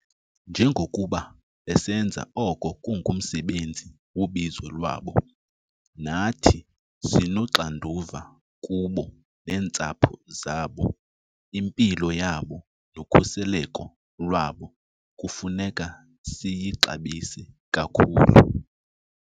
Njengokuba besenza oko kungumsebenzi wobizo lwabo, nathi sinoxanduva kubo neentsapho zabo. Impilo yabo nokhuseleko lwabo kufuneka siyixabise kakhulu.